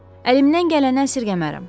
Əlimdən gələni əsirgəmərəm.